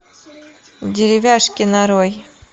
деревяшки нарой